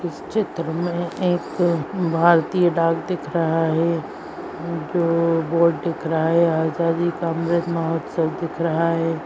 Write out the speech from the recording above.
इस चित्र में एक भारतीय डाक दिख रहा है जो बोर्ड दिख रहा है आजादी का अमृत महोत्सव दिख रहा है |